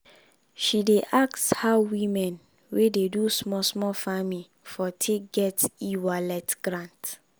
she dey ask how women wey dey do small small farming for take get e-wallet grant.